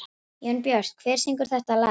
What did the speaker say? Jónbjört, hver syngur þetta lag?